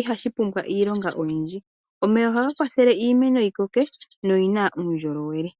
ihashi kwata ethimbo ele. Omeya ohaga kwathele iimeno yi koke noyi na uundjolowele.